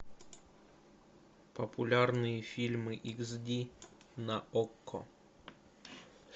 популярные фильмы икс ди на окко